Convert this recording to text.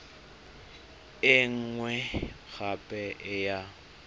e nngwe gape e ya